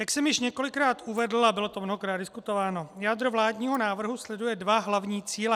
Jak jsem již několikrát uvedl, a bylo to mnohokrát diskutováno, jádro vládního návrhu sleduje dva hlavní cíle.